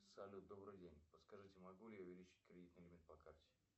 салют добрый день подскажите могу ли я увеличить кредитный лимит по карте